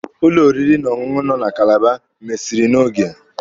Ụlọ oriri na ọṅụṅụ nọ na Kalaba mesiri n'oge.